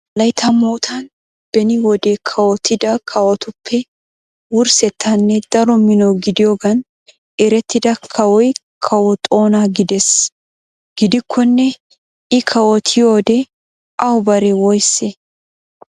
Wolaytta moottan beni wode kawottida kawotuppe wurssettanne daro mino gidiyoogan erettida kawoy Kawo Toona gidees. Gidikkonne I kawottyioode awu bare woysse?